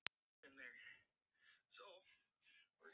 Já, lemdu mig bara, þú ert góður í því!